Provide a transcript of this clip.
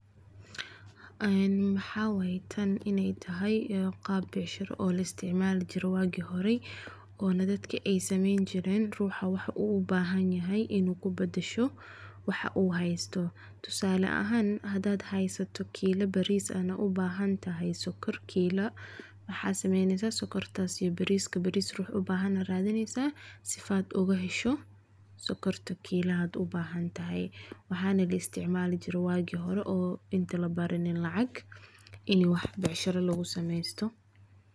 Waxaa waye tan inaay tahay qaab becshira oo la isticmaali jiray waagi hore, oona dadka aay sameyni jireen, ruuxa waxa uu ubahan yahay inuu kubadasho waxa uu haysto, tusaale ahaan hadaad haysato kila bariis aana ubahan tahay sokor kiila, waxaa sameeneysa sokortaas iyo bariiska, bariis ruux ubahan ayaa radineysa si aad ooga hesho sokorta kilaha aad ubahan tahay, waxaana la isticmaali jiray waagi hore oo inta labaranin lacag, in wax becshira lagu sameesto.